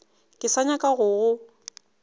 ke sa nyaka go go